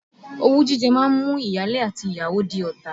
Owú jíjẹ máa ń mú ìyáálé àti ìyàwó di ọ̀tá.